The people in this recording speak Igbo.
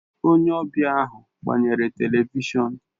Onye ọbịa ahụ gbanyere Televishọn